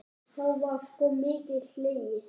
Þá var sko mikið hlegið.